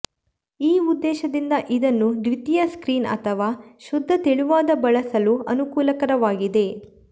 ಈ ಉದ್ದೇಶದಿಂದ ಇದನ್ನು ದ್ವಿತೀಯ ಸ್ಕ್ರೀನ್ ಅಥವಾ ಶುದ್ಧ ತೆಳುವಾದ ಬಳಸಲು ಅನುಕೂಲಕರವಾಗಿದೆ